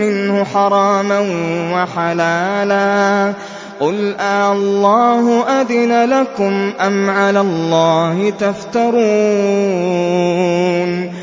مِّنْهُ حَرَامًا وَحَلَالًا قُلْ آللَّهُ أَذِنَ لَكُمْ ۖ أَمْ عَلَى اللَّهِ تَفْتَرُونَ